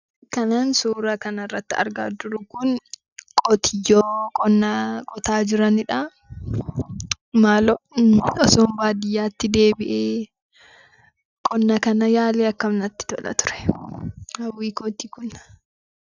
Kanan suura kananrratti argaa jiru kun qotiyyoo qonna qotaa jiranidha. Maaloo otoon baadiyyaatti deebi'ee qonna kana yaalee maal natti tola ture! Hawwii kooti kun.